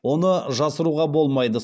оны жасыруға болмайды